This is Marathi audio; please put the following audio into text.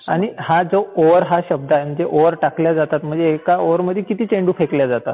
आणि हा जो ओव्हर हा शब्द आहे, म्हणजे ओव्हर टाकल्या जातात म्हणजे एका ओव्हर मध्ये किती चेंडू फेकले जातात?